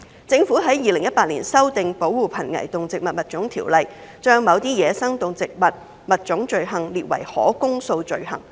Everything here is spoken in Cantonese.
政府於2018年修訂《保護瀕危動植物物種條例》，把某些走私野生動植物物種罪行列為可公訴罪行。